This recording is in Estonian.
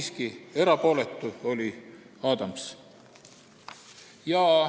Siiski, oli 1 erapooletu, Adams.